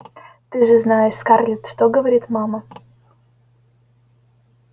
ты же знаешь скарлетт что говорит мама